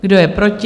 Kdo je proti?